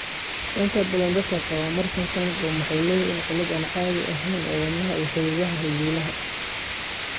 Inta badan dadka qaba Marfan syndrome waxay leeyihiin cillad aan caadi ahayn ee wadnaha iyo xididada halbowlaha.